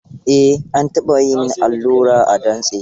Eh, an taɓa yi min allura a dantse.